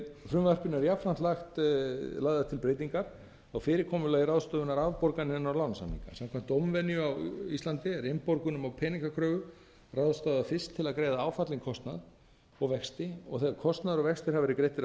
frumvarpinu eru jafnframt lagðar til breytingar á fyrirkomulagi ráðstöfunar afborgana inn á lánasamninga samkvæmt dómvenju á íslandi er innborgunum á peningakröfu ráðstafað fyrst til að greiða áfallinn kostnað og vexti og þegar kostnaður og vextir hafa verið greiddir að